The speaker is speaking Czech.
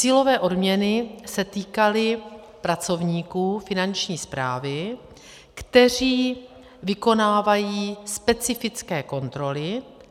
Cílové odměny se týkaly pracovníků Finanční správy, kteří vykonávají specifické kontroly.